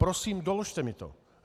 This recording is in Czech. Prosím doložte mi to.